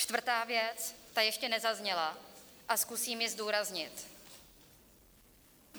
Čtvrtá věc - ta ještě nezazněla a zkusím ji zdůraznit.